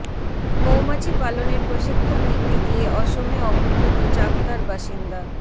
মৌমাছি পালনের প্রশিক্ষণ নিতে গিয়ে অসমে অপহৃত চাকদার বাসিন্দা